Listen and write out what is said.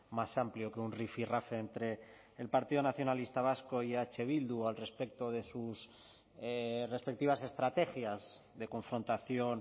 más amplio que un rifirrafe entre el partido nacionalista vasco y eh bildu al respecto de sus respectivas estrategias de confrontación